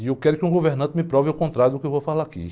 E eu quero que um governante me prove o contrário do que eu vou falar aqui.